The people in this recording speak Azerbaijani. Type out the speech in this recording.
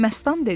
Məstan dedi.